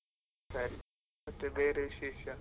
ಸರಿ, ಮತ್ತೆ ಬೇರೆ ವಿಶೇಷ.